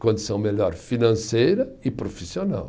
condição melhor financeira e profissional.